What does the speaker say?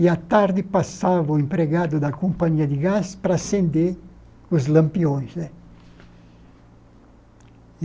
e, à tarde, passava o empregado da companhia de gás para acender os lampiões né.